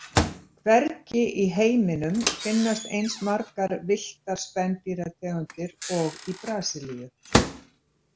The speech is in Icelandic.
Hvergi í heiminum finnast eins margar villtar spendýrategundir og í Brasilíu.